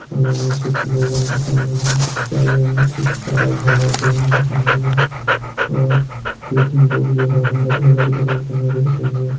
फुंडा हमि छकि लोगन दिखण लग्यां पिछाड़ी हमि छकि सारा डाला डुलन दिखेण लग्यां और दुई तीन यखा उंडे ढोलक ढुलक बणे क हीटण लग्यां।